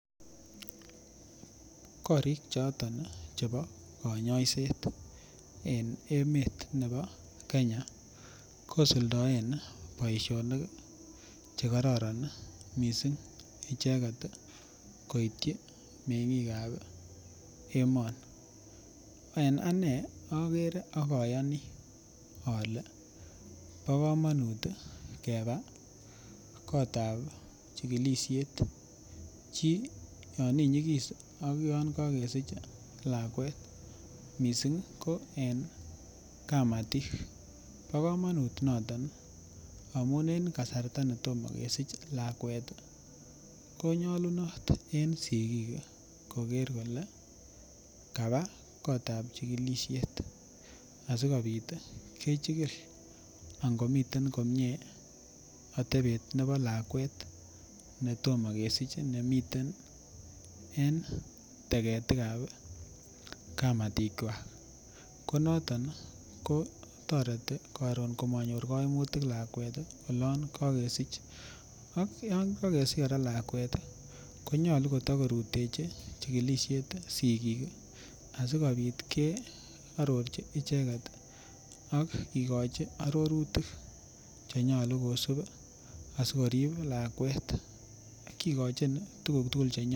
Korik choton chebo konyoiset en emet nebo Kenya kosuldoen boishonik chekororon mising icheket koityi mengikab emoni, en anee okere ak oyoni olee bo komonut keba kotab chikilishet chii yon inyikis ak yoon kokesich lakwet mising ko en kamatik bo komonut, noton amun en kasarta netomo kesich lakwet konyolunot en sikik koker kolee kabaa kotab chikilishet asikobit kechikil angomiten komie atebet nebo lakwet netomo kesich nemiten en teketikab kamatikwak, konoton kotoreti komonyor koimutik lakwet olon kokesich, ak yoon kokesich lakwet konyolu kotokorutechi chikilisiet sikik asikobit kearorchi icheket ak kikochi arorutik chenyolu kosib asikorib lakwet, kikochin tukuk tukul chenyolu.